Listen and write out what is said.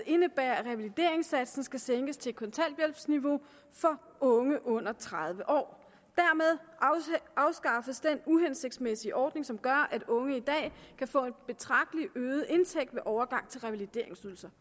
indebærer at revalideringssatsen skal sænkes til kontanthjælpsniveau for unge under tredive år dermed afskaffes den uhensigtsmæssige ordning som gør at unge i dag kan få en betragtelig øget indtægt ved overgang til revalideringsydelse